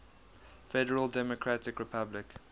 federal democratic republic